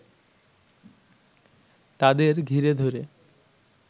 তাদের ঘিরে ধরে